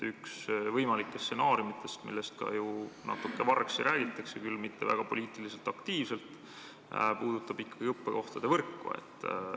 Üks võimalikest stsenaariumidest, millest ka ju natuke vargsi räägitakse, küll mitte väga poliitiliselt aktiivselt, puudutab ikkagi õppekohtade võrku.